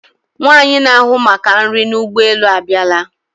Nwaanyi na-ahụ maka nri n'ụgbọ elu a bịala.